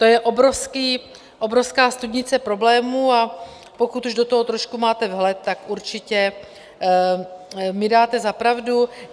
To je obrovská studnice problémů, a pokud do toho už trošku máte vhled, tak určitě mi dáte za pravdu.